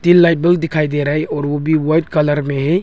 तीन light bug दिखाई दे रहा है और वो भी वाइट कलर में है।